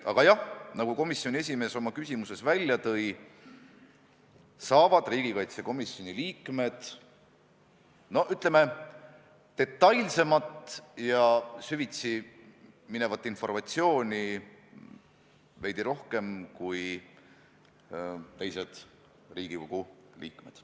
Aga jah, nagu komisjoni esimees oma küsimust esitades juba ütles, riigikaitsekomisjoni liikmed saavad, ütleme, detailsemat ja süvitsi minevat informatsiooni veidi rohkem kui teised Riigikogu liikmed.